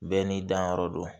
Bɛɛ n'i danyɔrɔ do